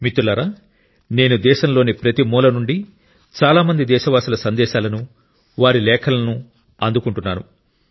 మిత్రులారా నేను దేశంలోని ప్రతి మూల నుండి చాలా మంది దేశవాసుల సందేశాలను వారి లేఖలను అందుకుంటున్నాను